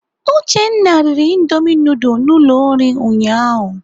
Uchenna riri indomi nudul na ụlọ nri ụnyaahụ.